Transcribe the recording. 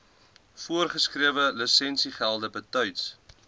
voorgeskrewe lisensiegelde betyds